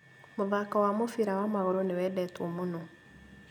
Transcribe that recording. Mũthako wa mũbira wa magũrũ nĩwendetwo mũno